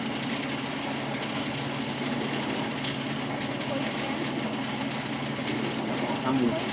சொல்லுங்க விஜயன் போயிருக்கேன்